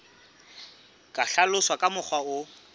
ka hlaloswa ka mokgwa o